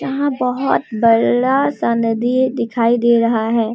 यहां बहोत बड़ा सा नदी दिखाई दे रहा है।